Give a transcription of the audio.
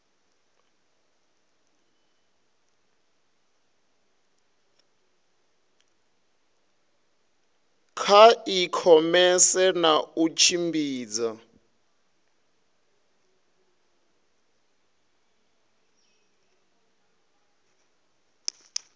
kha ikhomese na u tshimbidza